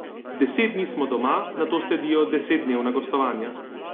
Deset dni smo doma, nato sledijo desetdnevna gostovanja.